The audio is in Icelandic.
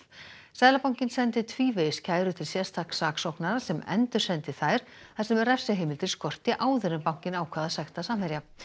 seðlabankinn sendi tvívegis kæru til sérstaks saksóknara sem endursendi þær þar sem refsiheimildir skorti áður en bankinn ákvað að sekta Samherja